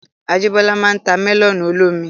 Ajíbọ́lá máa n ta mẹ́lọ̀nù olómi